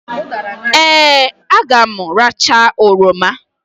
Ee! A ga m aracha oroma.